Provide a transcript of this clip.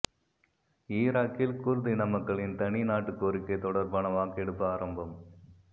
ஈராக்கில் குர்து இனமக்களின் தனி நாட்டு கோரிக்கை தொடர்பான வாக்கெடுப்பு ஆரம்பம்